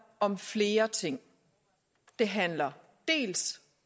om flere ting det handler dels